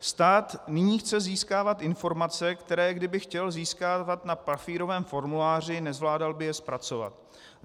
Stát nyní chce získávat informace, které kdyby chtěl získávat na papírovém formuláři, nezvládal by je zpracovat.